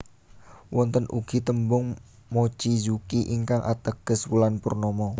Wonten ugi tembung mochizuki ingkang ateges wulan purnama